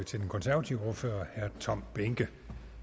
til den konservative ordfører herre tom behnke